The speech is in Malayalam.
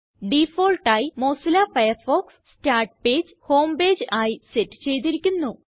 ഡിഫാൾട്ട് ആയി Mozilla Firefox start page home page ആയി സെറ്റ് ചെയ്തിരിക്കുന്നു